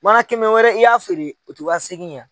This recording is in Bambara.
Mana kɛmɛ wɛrɛ i y'a feere u tɛ wa seegin ye wa.